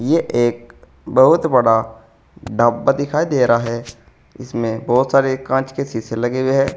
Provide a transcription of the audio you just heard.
ये एक बहुत बड़ा ढाबा दिखाई दे रहा है इसमें बहुत सारे कांच के शीशे लगे हुए हैं।